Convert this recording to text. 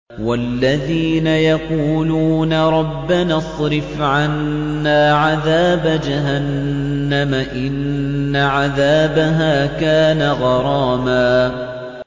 وَالَّذِينَ يَقُولُونَ رَبَّنَا اصْرِفْ عَنَّا عَذَابَ جَهَنَّمَ ۖ إِنَّ عَذَابَهَا كَانَ غَرَامًا